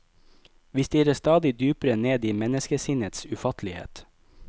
Vi stirrer stadig dypere ned i menneskesinnets ufattelighet.